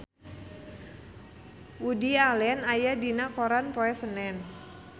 Woody Allen aya dina koran poe Senen